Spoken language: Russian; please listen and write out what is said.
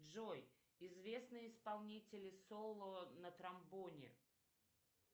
джой известные исполнители соло на тромбоне